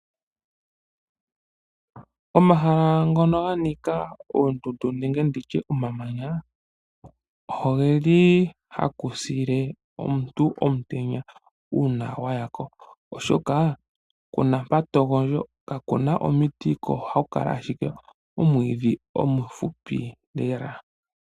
Omahala ngono ganika oondundu nenge omamanya, ohaku pile omuntu omutenya uuna waya ko oshoka kuna mpa togondjo kakuna omiti, ko ohaku kala omwiidhi omufupi lela.